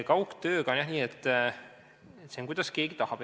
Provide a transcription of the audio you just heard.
Kaugtööga on nii, kuidas keegi tahab.